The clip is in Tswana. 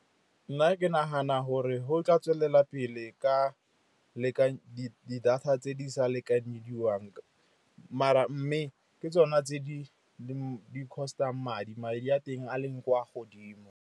Nna ke nagana gore go tla tswelela pele ka di-data tse di sa lekanyediwang maar mme ke tsona tse di cost-ang madi, madi a teng a leng kwa godimo.